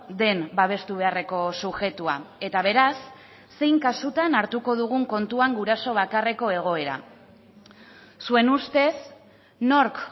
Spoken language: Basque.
den babestu beharreko subjektua eta beraz zein kasutan hartuko dugun kontuan guraso bakarreko egoera zuen ustez nork